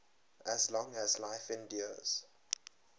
as long as life endures